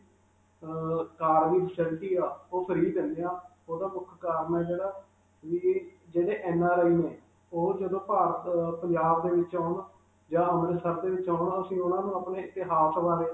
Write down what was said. ਅਅ car ਦੀ facility ਹੈ ਉਹ free ਦਿੰਦੇ ਹਾਂ, ਉਹਦਾ ਮੁਖ ਕਿ ਜਿਹੜੇ NRI ਨੇ, ਉਹ ਜਦੋਂ ਭਾਰਤ, ਪੰਜਾਬ ਦੇ ਵਿਚ ਆਉਣ ਜਾਂ ਅੰਮ੍ਰਿਤਸਰ ਦੇ ਵਿਚ ਆਉਣ, ਅਸੀਂ ਉਨ੍ਹਾਂ ਨੂੰ ਆਪਣੇ ਇਤਿਹਾਸ ਬਾਰੇ.